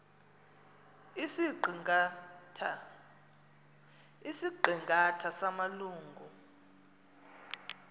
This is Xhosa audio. isiqi ngatha samalungu